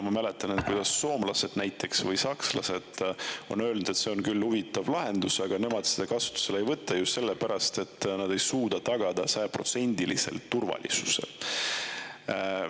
Ma mäletan, et soomlased näiteks, samuti sakslased on öelnud, et see on küll huvitav lahendus, aga nemad seda kasutusele ei võta just sellepärast, et nad ei suuda sajaprotsendiliselt turvalisust tagada.